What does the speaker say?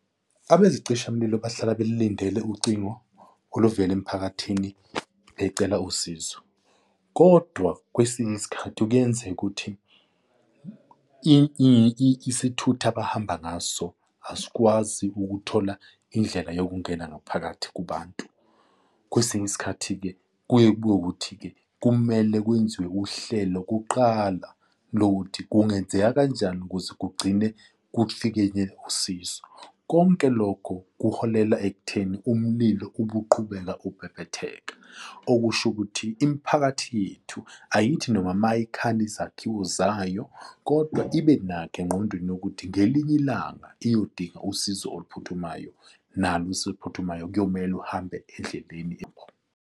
Abezicishamlilo bahlala belilindele ucingo oluvela emphakathini becela usizo. Kodwa kwesinye isikhathi kuyenzeka ukuthi isithutha abahamba ngaso asikwazi ukuthola indlela yokungena ngaphakathi kubantu. Kwesinye isikhathi-ke kuye kube ukuthi-ke kumele kwenziwe uhlelo kuqala lokuthi kungenzeka kanjani ukuze kugcine kufikeke usizo. Konke lokho kuholela ekutheni umlilo ube uqhubeka ukubhebhetheka. Okusho ukuthi imiphakathi yethu ayithi noma mayikhanda izakhiwo zayo kodwa ibe nakho engqondweni ukuthi ngelinye ilanga iyodina usizo oluphuthumayo nalo usizo oluphuthumayo kuyomele uhambe endleleni enkulu.